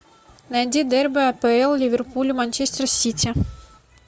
найди дерби апл ливерпуль манчестер сити